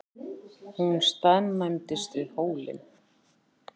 Hún staðnæmist við hólinn.